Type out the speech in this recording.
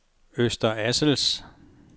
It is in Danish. Øster Assels